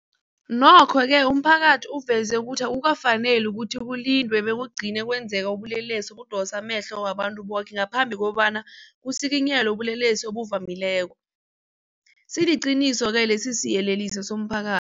Nokho-ke umphakathi uveze ukuthi akukafaneli ukuthi kulindwe bekugcine kwenzeke ubulelesi obudosa amehlo wabantu boke ngaphambi kobana kusikinyelwe ubulelesi obuvamileko, siliqiniso-ke lesisiyeleliso somphaka